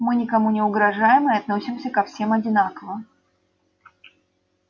мы никому не угрожаем и относимся ко всем одинаково